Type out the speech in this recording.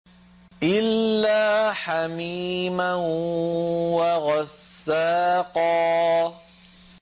إِلَّا حَمِيمًا وَغَسَّاقًا